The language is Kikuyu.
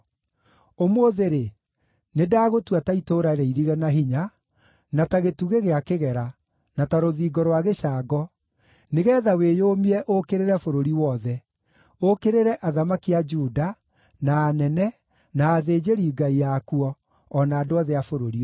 Ũmũthĩ-rĩ, nĩndagũtua ta itũũra rĩirige na hinya, na ta gĩtugĩ gĩa kĩgera, na ta rũthingo rwa gĩcango, nĩgeetha wĩyũmie ũũkĩrĩre bũrũri wothe: ũũkĩrĩre athamaki a Juda, na anene, na athĩnjĩri-Ngai akuo, o na andũ othe a bũrũri ũyũ.